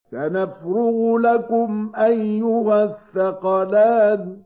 سَنَفْرُغُ لَكُمْ أَيُّهَ الثَّقَلَانِ